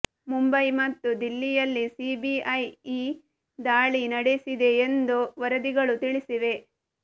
ಮುಂಬಯಿ ಮತ್ತು ದಿಲ್ಲಿ ಯಲ್ಲಿ ಸಿಬಿಐ ಈ ದಾಳಿ ನಡೆಸಿದೆ ಎಂದು ವರದಿಗಳು ತಿಳಿಸಿವೆ